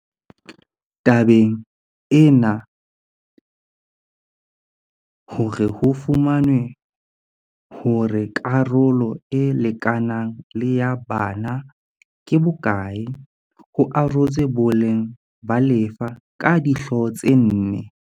Tabeng ena hore ho fumanwe hore karolo e lekanang le ya bana ke bo kae ho arotswe boleng ba lefa ka dihlooho tse nne.